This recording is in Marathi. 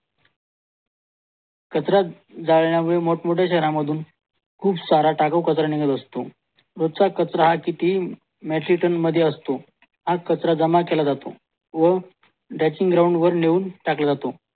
कचरा जाळण्यामुळे मोठमोठ्या शहरामधून खूप सारा टाकाऊ कचरा निघत असतो रोजचा कचरा हा किती मैचीलटॅन मध्ये असतो हा कचरा जमा केला जातो वो डेंचिंग ग्राउंडवर नेऊन टाकला जातो